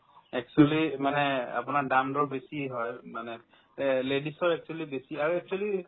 actually মানে আপোনাৰ দাম-দৰ বেছি হয় মানে এহ্ ladies ৰ actually বেছি আৰু actually